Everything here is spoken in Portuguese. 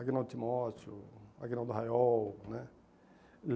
Agnaldo Timóteo, Agnaldo Hayol, né?